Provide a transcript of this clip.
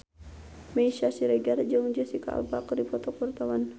Meisya Siregar jeung Jesicca Alba keur dipoto ku wartawan